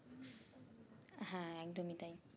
হ্যাঁ একদমই তাই